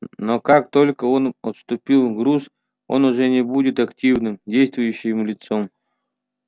но как только он отпустит груз он уже не будет активным действующим лицом